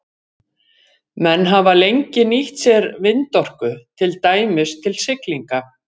Menn hafa lengi nýtt sér vindorku, til dæmis til siglinga.